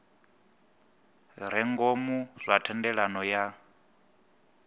re ngomu zwa thendelano ya